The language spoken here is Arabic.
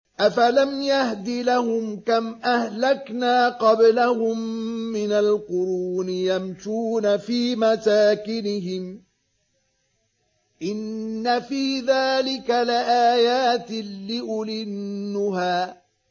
أَفَلَمْ يَهْدِ لَهُمْ كَمْ أَهْلَكْنَا قَبْلَهُم مِّنَ الْقُرُونِ يَمْشُونَ فِي مَسَاكِنِهِمْ ۗ إِنَّ فِي ذَٰلِكَ لَآيَاتٍ لِّأُولِي النُّهَىٰ